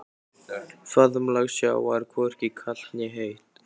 Faðmlag sjávar hvorki kalt né heitt.